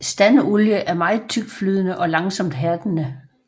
Standolie er meget tyktflydende og langsomt hærdende